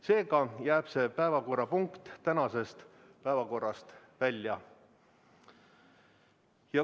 Seega jääb see päevakorrapunkt tänasest päevakorrast välja.